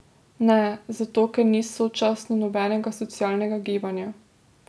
Ne, zato ker ni sočasno nobenega socialnega gibanja.